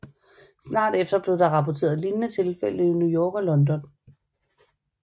Snart efter blev der rapporteret lignende tilfælde i New York og London